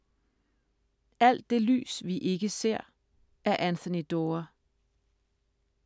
Alt det lys vi ikke ser af Anthony Doerr